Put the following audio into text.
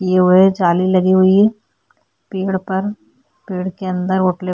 यह हुए जाली लगी हुई है पेड़ पर पेड़ के अंदर होटल --